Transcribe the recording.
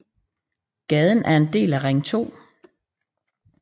Gaden er en del af Ring 2